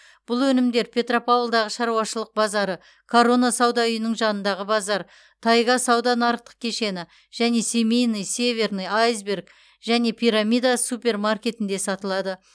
бұл өнімдер петропавлдағы шаруашылық базары корона сауда үйінің жанындағы базар тайга сауда нарықтық кешені және семейный северный айсберг және пирамида супермаркетінде сатылады